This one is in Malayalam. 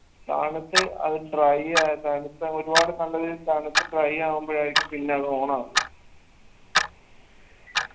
തണുത്ത് അത് dry ആക്കാ തണുത്ത ഒരുപാട് തണുത്ത് dry ആവുമ്പോഴായിരിക്കും പിന്നത് on ആവുന്നത്